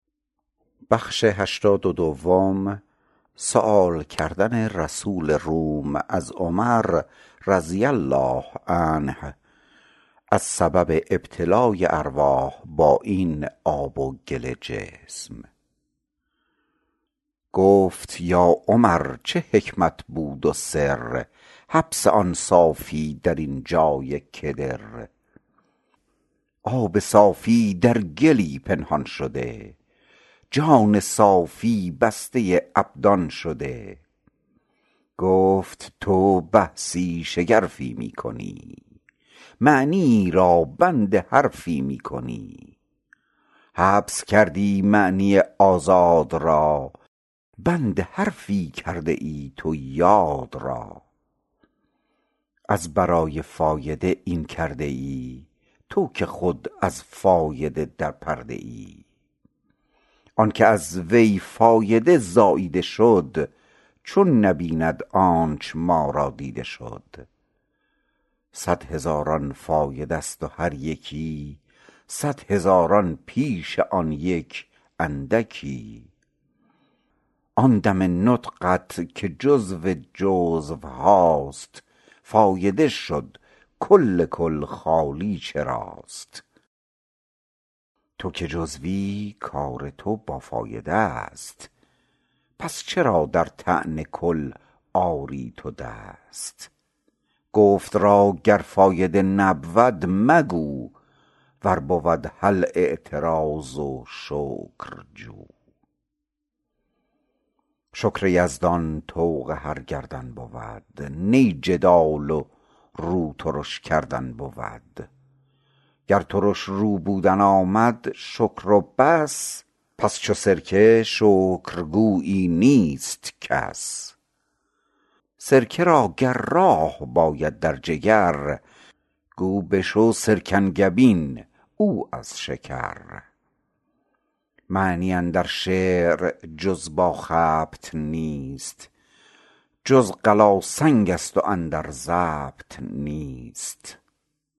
گفت یا عمر چه حکمت بود و سر حبس آن صافی درین جای کدر آب صافی در گلی پنهان شده جان صافی بسته ابدان شده گفت تو بحثی شگرفی می کنی معنیی را بند حرفی می کنی حبس کردی معنی آزاد را بند حرفی کرده ای تو یاد را از برای فایده این کرده ای تو که خود از فایده در پرده ای آنک از وی فایده زاییده شد چون نبیند آنچ ما را دیده شد صد هزاران فایده ست و هر یکی صد هزاران پیش آن یک اندکی آن دم نطقت که جزو جزوهاست فایده شد کل کل خالی چراست تو که جزوی کار تو با فایده ست پس چرا در طعن کل آری تو دست گفت را گر فایده نبود مگو ور بود هل اعتراض و شکر جو شکر یزدان طوق هر گردن بود نی جدال و رو ترش کردن بود گر ترش رو بودن آمد شکر و بس پس چو سرکه شکرگویی نیست کس سرکه را گر راه باید در جگر گو بشو سرکنگبین او از شکر معنی اندر شعر جز با خبط نیست چون قلاسنگست و اندر ضبط نیست